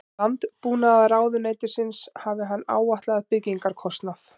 Landbúnaðarráðuneytisins hafi hann áætlað byggingarkostnað